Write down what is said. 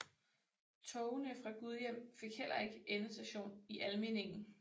Togene fra Gudhjem fik heller ikke endestation i Almindingen